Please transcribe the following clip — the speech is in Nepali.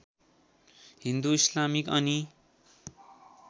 हिन्दु इस्लामिक अनि